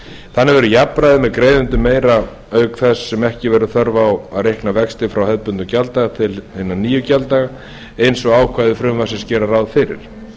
þannig verður jafnræði með greiðendum meira auk þess sem ekki verður þörf á að reikna vexti frá hefðbundnum gjalddaga til hinna nýju gjalddaga eins og ákvæði frumvarpsins gera ráð fyrir